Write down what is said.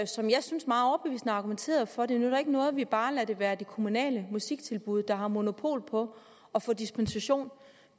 som jeg synes meget overbevisende argumenterede for at det ikke nytter noget at vi bare lader det være det kommunale musiktilbud der har monopol på at få dispensation